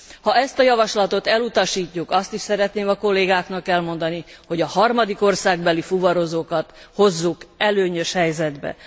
Ha ezt a javaslatot elutasítjuk, azt is szeretném a kollégáknak elmondani, hogy a harmadik országbeli fuvarozókat hozzuk előnyös helyzetbe.